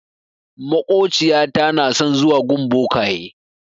Maƙociyata na son zuwa gun bokaye.